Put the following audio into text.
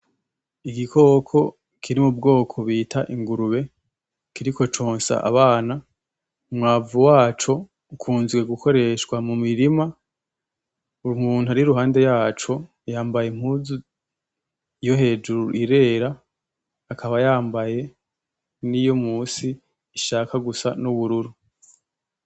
Igikoko kiri mu bwoko bita ingurube kiriko consa abana. Umwavu waco ukunzwe gukoreshwa mu mirima. Umuntu ari ruhande yaco yambaye impuzu yo hejuru irera akaba yambaye n’iyo musi ishaka gusa n’ubururu.